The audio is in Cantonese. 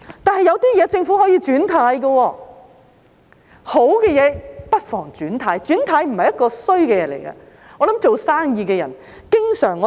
但是，有些事情政府可以"轉軚"，好的不妨"轉軚"，"轉軚"不是壞事，我想做生意的人經常......